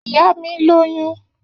Iya mi loyun.